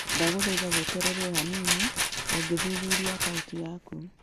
Ndagũthaitha weterere o hanini o ngĩthuthuria akaunti yaku